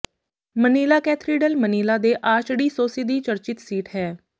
Manila cathedral Manila ਦੇ archdiocese ਦੀ ਚਰਚਿਤ ਸੀਟ ਹੈ